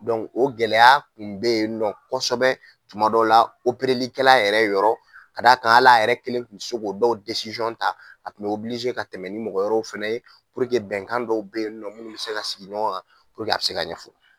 o gɛlɛya tun be yen nɔ kɔsɛbɛ tuma dɔw la likɛla yɛrɛ yɔrɔ k'a d'a kan hal'a yɛrɛ kelen tun se k'o dɔw ta, a tun be ka tɛmɛ ni mɔgɔ yɔrɔw fɛnɛ ye bɛnkan dɔw be yen nɔ mun bi se ka sigi ɲɔgɔn kan a bi se ka ɲɛfɔ.